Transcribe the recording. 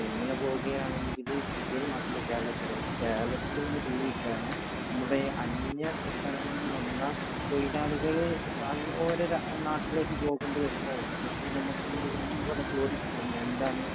ഇങ്ങനെ പോകുകയാണെങ്കിൽ, ഇന്ത്യയിൽ മാത്രമല്ല കേരളത്തിലും. കേരളത്തിൽ ഇന്ന് ജീവിക്കാൻ ഇവിടെ അന്യസംസ്ഥാനങ്ങളിൽനിന്നും വന്ന തൊഴിലാളികൾ ഓരോ നാട്ടിലേക്ക് പോകേണ്ടി വരുമ്പോൾ എങ്കിൽ നമുക്ക് ഇനി ഇവിടെ ജോലി കിട്ടുമോ എന്താണ്?